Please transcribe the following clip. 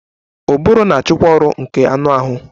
Ụbụrụ na-achịkwa ọrụ nke anụ ahụ